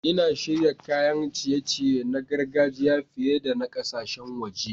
Ina shirya kayan ciye-ciye na gargajiya fiye da na ƙasashen waje.